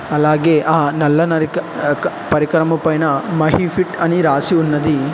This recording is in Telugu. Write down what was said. అలాగే ఆ నల్లన నరిక క క పరికరం పైన మాక్సిఫిట్ రాసి ఉన్నది.